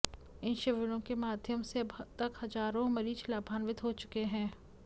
इन शिविरों के माध्यम से अब तक हजारों मरीज लाभान्वित हो चुके हैं